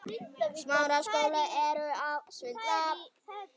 Þú verður að lofa!